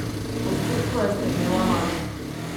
Osuplo je strmela vanj.